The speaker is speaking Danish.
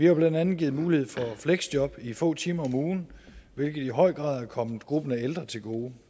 jo blandt andet givet mulighed for fleksjob i få timer om ugen hvilket i høj grad er kommet gruppen af ældre til gode